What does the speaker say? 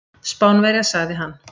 Spánverja, sagði hann.